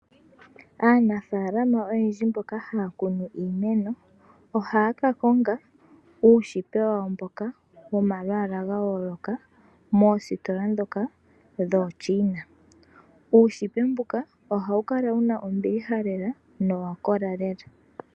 Aanafaalama oyendji mboka haya kunu iimeno ohaya ka konga uushipe wawo womalwaala ga yooloka moositola dhooChina. Uushipe mbuka ohawu kala wuna ombiliha lela nowa kla lela.